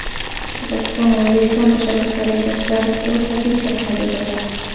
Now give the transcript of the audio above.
Qozog‘iston O‘zbekiston tashabbuslari yuzasidan o‘z pozitsiyasini bildirdi.